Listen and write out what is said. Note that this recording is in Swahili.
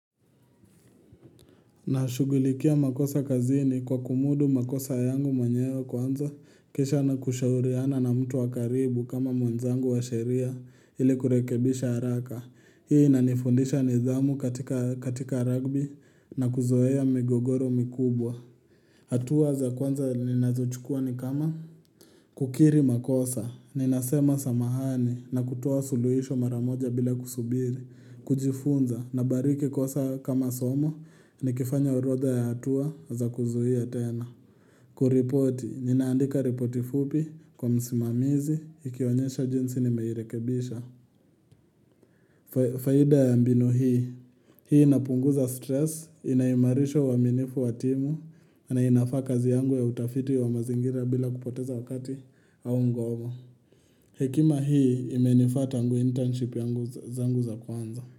Nashughulikia makosa kazini kwa kumudu makosa yangu mwenyewe kwanza kisha na kushauriana na mtu wa karibu kama mwenzangu wa sheria ili kurekebisha haraka hii inanifundisha nidhamu katika rugby na kuzoea migogoro mikubwa hatua za kwanza ninazochukua ni kama? Kukiri makosa, ninasema samahani na kutoa suluhisho mara moja bila kusubiri kujifunza na bariki kosa kama somo nikifanya orodha ya hatua za kuzuia tena Kuripoti, ninaandika ripoti fupi kwa msimamizi, nikionyesha jinsi nimeirekebisha faida ya mbinu hii, hii inapunguza stress, inaimarisha uaminifu wa timu na inafaa kazi yangu ya utafiti wa mazingira bila kupoteza wakati au ngomo Hekima hii imenifaa tangu internship zangu za kwanza.